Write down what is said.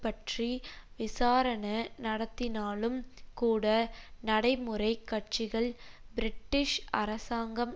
பற்றி விசாரண நடத்தினாலும் கூட நடைமுறை கட்சிகள் பிரிட்டிஷ் அரசாங்கம்